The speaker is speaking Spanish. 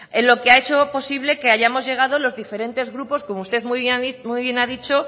en lo que ha hecho posible que hayamos llegado los diferentes grupos como usted muy bien ha dicho